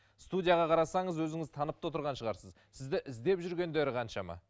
студияға қарасаңыз өзіңіз танып та отырған шығарсыз сізді іздеп жүргендері қаншама